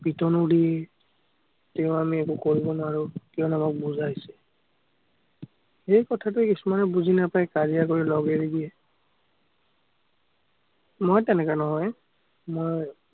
পিটনো দিয়ে। তেওঁ আমি একো কৰিব নোৱাৰো, কিয়নো আমাক বুজাই। সেই কথাটো কিছুমানে বুজি নাপায়, কাজিয়া কৰি লগ এৰি দিয়ে। মই তেনেকা নহয়। মই